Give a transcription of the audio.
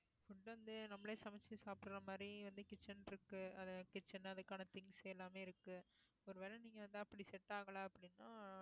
food வந்து நம்மளே சமைச்சு சாப்பிடுற மாதிரி வந்து kitchen இருக்கு அது kitchen அதுக்கான things எல்லாமே இருக்கு ஒருவேளை நீங்க வந்து அப்படி set ஆகலை அப்படின்னா